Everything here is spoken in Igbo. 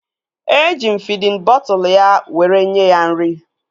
Eji m fidin bọtụlu ya were nye ya nri